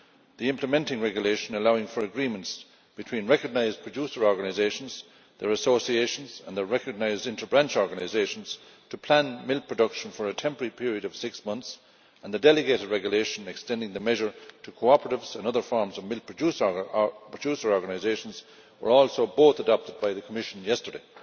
The implementing regulation allowing for agreements between recognised producer organisations, their associations and recognised inter branch organisations to plan milk production for a temporary period of six months and the delegated regulation extending the measure to cooperatives and other forms of milk producer organisations were also both adopted by the Commission yesterday.